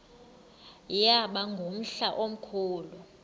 yaba ngumhla omkhulu